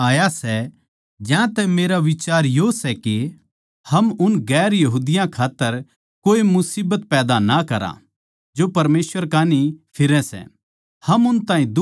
ज्यांतै मेरा बिचार यो सै के हम उन दुसरी जात्तां खात्तर कोए मुसीबत पैदा ना करा जो परमेसवर कै कान्ही फिरैं सै हम उन ताहीं दुख ना देवां